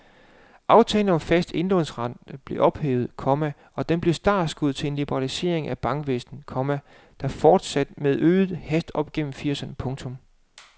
Aftalen om fast indlånsrente blev ophævet, komma og den blev startskuddet til en liberalisering af bankvæsenet, komma der fortsatte med forøget hast op gennem firserne. punktum